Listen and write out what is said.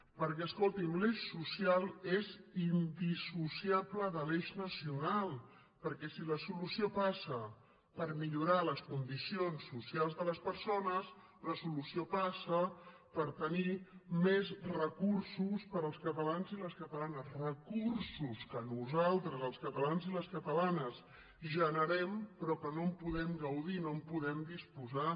perquè escolti’m l’eix social és indissociable de l’eix nacio nal perquè si la solució passa per millorar les condicions socials de les persones la solució passa per tenir més recursos per als catalans i les catalanes recursos que nosaltres els catalans i les catalanes generem però que no en podem gaudir no en podem disposar